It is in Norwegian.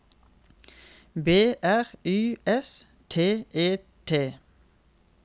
B R Y S T E T